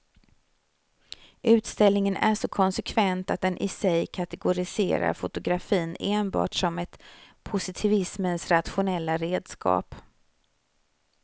Utställningen är så konsekvent att den i sig kategoriserar fotografin enbart som ett positivismens rationella redskap.